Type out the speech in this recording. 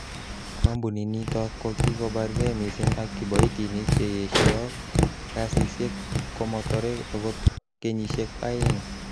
Kompuninoton kokikobarge missing ak kiboitinik che yesho kasisiek ak komotore ogot kenyisiek oeng.